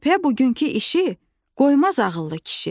Sübhə bugünkü işi qoymaz ağıllı kişi.